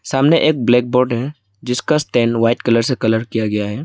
सामने एक black board है जिसका स्टैंड व्हाइट कलर से कलर किया गया है।